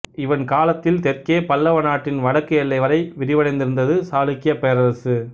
இவன் காலத்தில் தெற்கே பல்லவ நாட்டின் வடக்கு எல்லை வரை விரிவடைந்திருந்தது சாளுக்கியப் பேரரசு